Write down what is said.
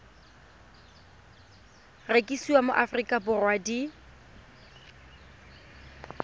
rekisiwa mo aforika borwa di